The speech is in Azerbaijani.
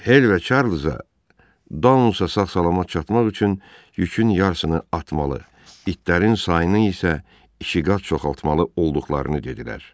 Hel və Çarlza Daunsda sağ-salamat çatmaq üçün yükün yarısını atmalı, itlərin sayını isə ikiqat çoxaltmalı olduqlarını dedilər.